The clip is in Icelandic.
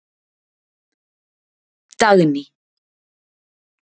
Dagný